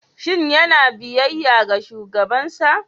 Shin yana biyayya ga shugabansa?